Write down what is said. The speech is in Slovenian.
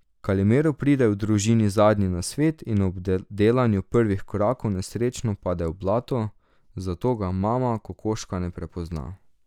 Kalimero pride v družini zadnji na svet in ob delanju prvih korakov nesrečno pade v blato, zato ga mama kokoška ne prepozna.